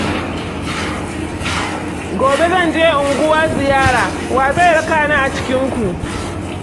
Gobe zan je unguwa ziyara, wa zai rakani a cikinku?